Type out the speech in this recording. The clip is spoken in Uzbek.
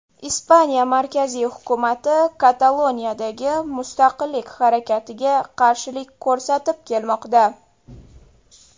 Ispaniya markaziy hukumati Kataloniyadagi mustaqillik harakatiga qarshilik ko‘rsatib kelmoqda.